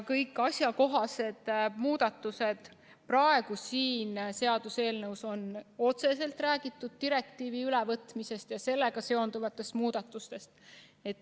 Kõik asjakohased muudatused selles praeguses seaduseelnõus on otseselt seotud direktiivi ülevõtmisega ja sellega seonduvate muudatustega.